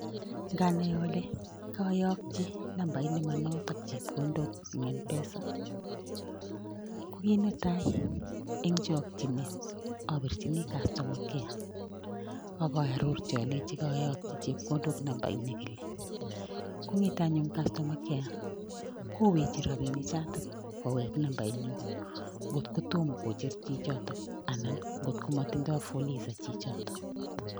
Nganai ale kayakchi nambait ne manotok chepkondok eng Mpesa, ko kit netai eng chokchinet apirchini customer care akaarorchi alechini kayokchi chepkondok namba [s] inikile. Kong'et anyun customer care koweche rabini chatak kowek namba inyu. Ngot ko tom kocher chichotok anan ngotko motindoi fuliza chichotok.